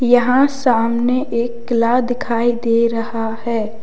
यहां सामने एक किला दिखाई दे रहा है।